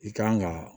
I kan ga